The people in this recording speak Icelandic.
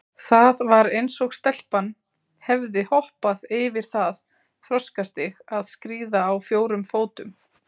Það var eins og stelpan hefði hoppað yfir það þroskastig að skríða á fjórum fótum.